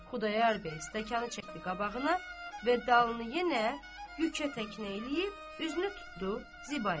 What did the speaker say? Xudayar bəy stəkanı çəkdi qabağına və dalını yenə kükə təkinə eləyib üzünü tutdu Zibaya.